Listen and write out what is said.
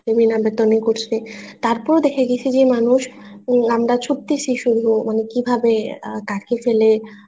করছে তারপর ও দেখা গেছে যে মানুষ আমরা ছুটতেছি শুধু কিভাবে কাকে ফেলে